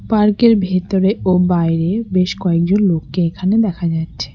Park -এর ভেতরে ও বাইরে বেশ কয়েকজন লোককে এখানে দেখা যাচ্ছে।